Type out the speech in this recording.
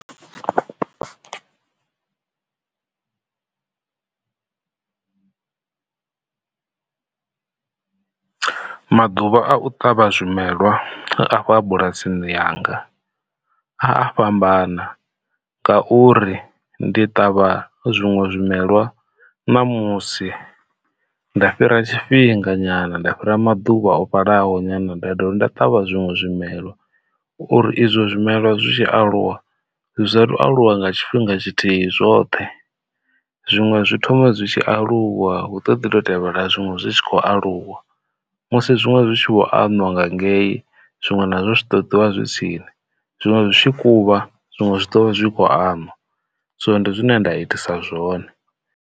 Maḓuvha a u ṱavha zwimelwa afha bulasini yanga a a fhambana ngauri ndi ṱavha zwiṅwe zwimelwa ṋamusi nda fhira tshifhinga nyana nda fhira maḓuvha o vhalaho nyana nda dovha nda ṱavha zwiṅwe zwimelwa uri izwo zwimelwa. Zwi tshi aluwa zwa satu aluwa nga tshifhinga tshithihi zwoṱhe, zwiṅwe zwi thoma zwi tshi aluwa hu ṱoḓi ḓo tevhela zwiṅwe zwi tshi khou aluwa musi zwiṅwe zwi tshi vho anwa nga ngei zwiṅwe nazwo zwi ṱoḓiwa zwi tsini zwiṅwe zwi tshi kuḓuvha zwiṅwe zwi ḓovha zwi kho anwa, so ndi zwine nda itisa zwone.